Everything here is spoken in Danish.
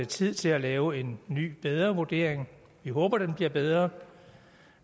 tid til at lave en ny bedre vurdering vi håber den bliver bedre